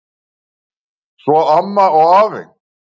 Svo amma og afi.